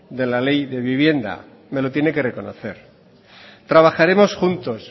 de la ley de vivienda me lo tiene que reconocer trabajaremos juntos